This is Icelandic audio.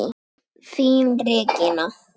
Þín, Regína.